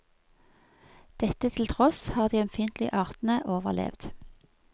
Dette til tross har de ømfintlige artene overlevd.